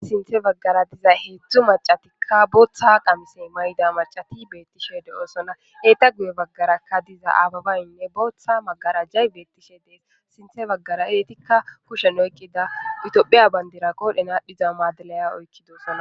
Sinthe baggara diza heedzdzu macatikka booththa qamise mayida macati beettishe de'osona eetta guye baggarakka diza aabebayinne booththa magarajay beettishe dees sinthe baggara eettikka kushen oykkida itophiya bandira qodhen aadhiza maadiliya oykkidosona